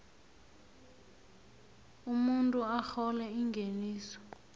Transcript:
umuntu arhola ingeniso